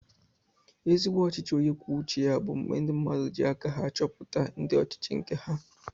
Ezigbo ọchịchị onye kwuo uche ya bu mgbe ndi mmadụ ji aka ha achọpụta ndị ọchịchị nke ha